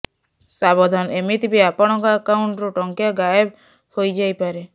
ସାବଧାନ ଏମିତି ବି ଆପଣଙ୍କ ଆକାଉଣ୍ଟରୁ ଟଙ୍କା ଗାଏବ ହୋଇଯାଇ ପାରେ